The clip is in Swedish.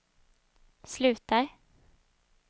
slutar